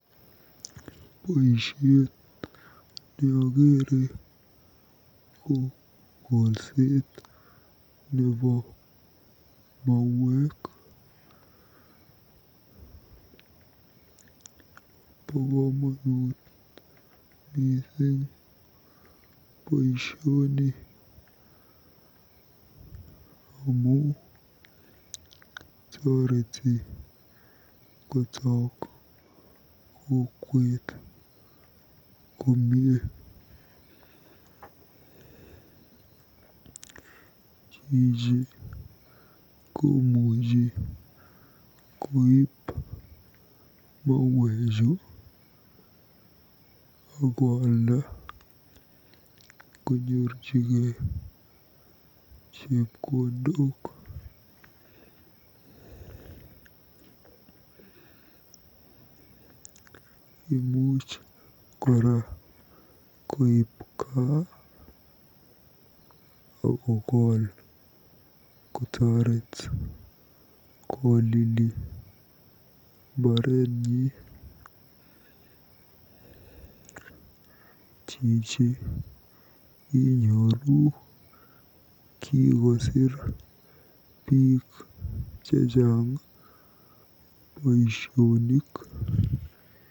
Boisiet neokere ko kolset nebo mauek. Bo komonut mising boisioni amu torweti kotook kokwet komie. Chichi komuuchi koib mauechu akoalda konyorjigei chepkondok. Imuch kora koib gaa akokol kotoret kolili mbarenyi. Chichi inyoru kikosiir biik chechang boisionik.